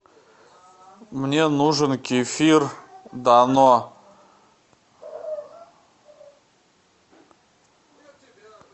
мне нужен кефир дано